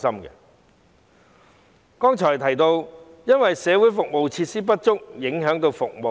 我剛才提到，社會服務設施不足以致影響服務。